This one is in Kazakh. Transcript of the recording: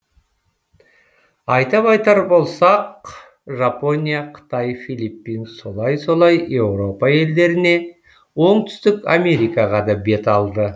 айтап айтар болсақ жапония қытай филиппин солай солай еуропа елдеріне оңтүстік америкаға да бет алды